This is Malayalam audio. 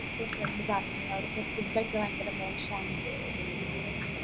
friend പറഞ്ഞിന് അവിടത്തെ food ഒക്കെ ഭയങ്കര മോശാന്ന്